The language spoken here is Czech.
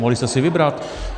Mohli jste si vybrat.